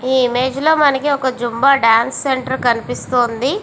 ఈ ఇమేజ్ లో మనకి ఒక జుంబ డాన్స్ సెంటర్ కనిపిస్తూ వుంది.